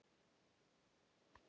Elsku mamma, farðu vel.